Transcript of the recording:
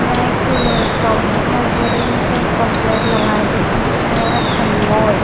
यहां एक शॉप दिखाई दे रही है जिस पे एक पंप प्लेट लगा है जिस पे लिखा है अनमोल।